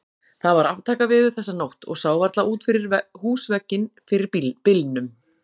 Það var aftakaveður þessa nótt og sá varla út fyrir húsvegginn fyrir bylnum.